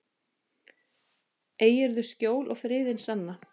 Eigirðu skjól og friðinn sanna.